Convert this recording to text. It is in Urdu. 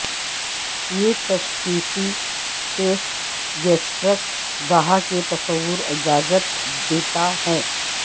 یہ تشخیصی ٹیسٹ گیسٹرک گہا کے تصور اجازت دیتا ہے